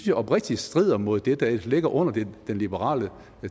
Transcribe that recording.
jeg oprigtigt strider mod det der ligger under den liberale